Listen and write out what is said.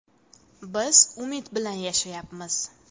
Biz umid bilan yashayapmiz.